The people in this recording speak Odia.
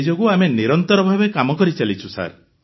ସେହି ଯୋଗୁ ଆମେ ନିରନ୍ତର ଭାବେ କାମ କରିଚାଲିଛୁ